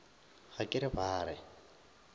ga ke re ba re